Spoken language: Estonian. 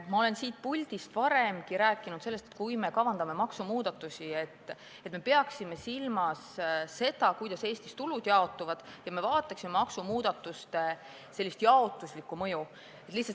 Ma olen siit puldist varemgi rääkinud sellest, et kui me kavandame maksumuudatusi, siis me peaksime silmas pidama, kuidas Eestis tulud jaotuvad, ja peaksime vaatama maksumuudatuste jaotuslikku mõju.